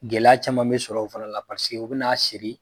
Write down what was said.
Gɛlɛya caman be sɔrɔ o fana na paseke o be n'a siri